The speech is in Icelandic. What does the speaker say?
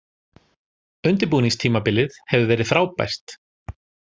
Undirbúningstímabilið hefur verið frábært.